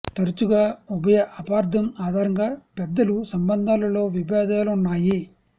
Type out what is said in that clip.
తరచుగా ఉభయ అపార్ధం ఆధారంగా పెద్దలు సంబంధాలు లో విభేదాలు ఉన్నాయి